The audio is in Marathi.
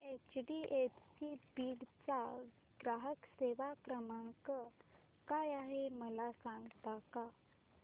एचडीएफसी बीड चा ग्राहक सेवा क्रमांक काय आहे मला सांगता का